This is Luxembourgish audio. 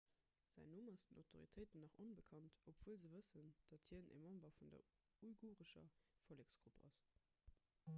säin numm ass den autoritéiten nach onbekannt obwuel se wëssen dat hien e member vun der uigurescher volleksgrupp ass